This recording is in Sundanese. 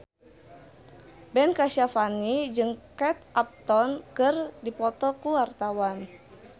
Ben Kasyafani jeung Kate Upton keur dipoto ku wartawan